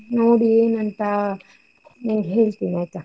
ನೋಡಿ ಏನ್ ಅಂತಾ ನಿಂಗೆ ಹೇಳ್ತಿನ್, ಆಯ್ತಾ?